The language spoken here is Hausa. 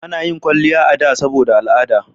A na yin kwalliya a da saboda al'ada